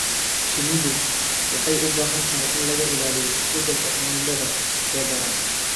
Shinnidu waxay u baahan tahay in laga ilaaliyo isbeddelka cimilada ee daran.